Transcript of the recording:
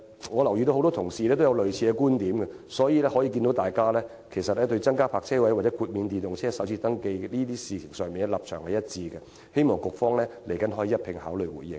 我留意到很多同事也持有類似觀點，大家對增加泊車位或豁免電動車首次登記稅這些事宜，立場一致，希望局方稍後可以一併回應。